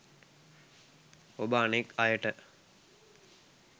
ඔබ අනෙක් අයට